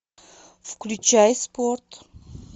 включай спорт